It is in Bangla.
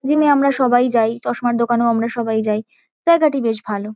জিম -এ আমরা সবাই যাই। চশমার দোকানেও আমরা সবাই যাই। জায়গাটি বেশ ভালো।